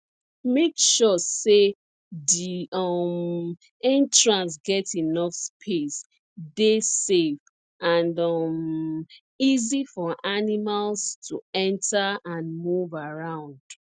make sure say di um entrance get enough space dey safe and um easy for animals to enter and move around